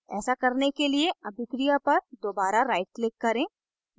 ऐसा करने के लिए अभिक्रिया पर दोबारा right click करें